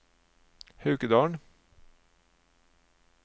Haukedalen